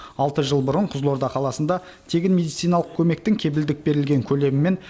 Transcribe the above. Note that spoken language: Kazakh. алты жыл бұрын қызылорда қаласында тегін медициналық көмектің кепілдік берілген көлемі мен